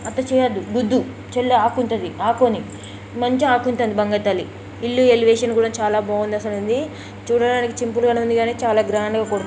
అట్ట చేయొద్దు వద్దు చెల్లి ఆకుంటది ఆకోని మంచిగా ఆకుంటుంది బంగారు తల్లి. ఇల్లు ఎలివేషన్ కూడా చాలా బాగుంది అసలు ఆండీ చూడడానికి చింపుల్ గానే ఉంది కానీ చాలా గ్రాండ్ గా --కొడు